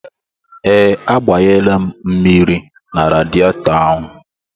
Ee, agbanyela m mmiri na radietọ ahụ.